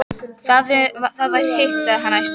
Ef það var hitt, sagði hann æstur